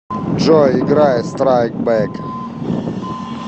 джой играй страйк бэк